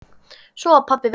Svo var pabbi veikur.